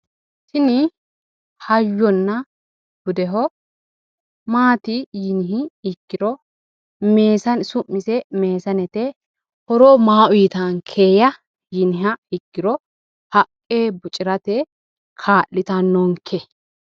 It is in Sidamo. Tini hayyona budeho. Maati yiniha ikkiro su'mise meesanete. Horo maa uuyitaankeya yiniha ikkiro haqqe bocirate ikkitanno.